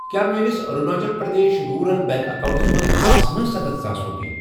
کیٛاہ میٲنِس Arunachal Pradesh rural bank accounts منٛز آسنہٕ سَتتھ ساس رۄپیہِ؟